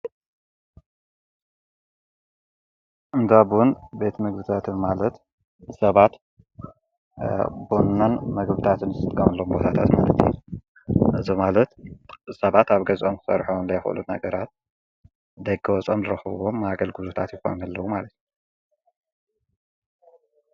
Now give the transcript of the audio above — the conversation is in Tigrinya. እንዳብውን ቤቲ ምግብታትን ማለት ሰባት ቦናን መግብታትንስትቃምሎም ወታታት መለቲ እዝ ማለት ሰባት ኣብ ገዛም ሠርሖን ላይይፈሎት ነገራት ደገ ወጸም ረኸቦም ማገል ጉዙታት ይፍሚ ኣለዉ ማለት።